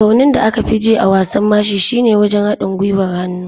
Raunin da aka fi ji a wasan mashi shine wajen haɗin gwiwar hannu.